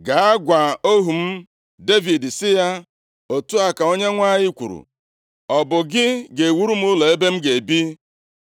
“Gaa gwa ohu m Devid sị ya, ‘Otu a ka Onyenwe anyị kwuru, Ọ bụ gị ga-ewuru m ụlọ ebe m ga-ebi?